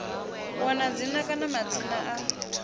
wana dzina kana madzina a